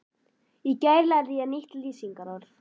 Í gær lærði ég nýtt lýsingarorð.